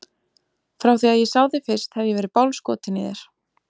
Frá því að ég sá þig fyrst hef ég verið bálskotinn í þér.